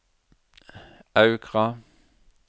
Aukra